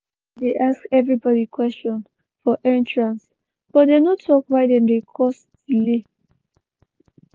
security dey ask everybody question for entrance but dem no tok why dem dey cause delay.